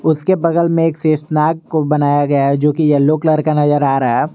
उसके बगल में एक शेषनाग को बनाया गया है जो कि येलो कलर का नजर आ रहा है।